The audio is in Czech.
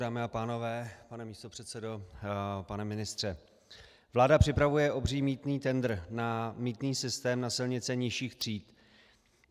Dámy a pánové, pane místopředsedo, pane ministře, vláda připravuje obří mýtný tendr na mýtný systém na silnice nižších tříd.